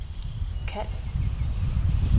kald